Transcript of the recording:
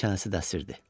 Çənəsi də əsirdi.